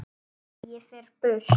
Ég fer burt.